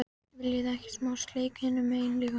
VILJIÐI EKKI SMÁ SLEIK HINUM MEGIN LÍKA!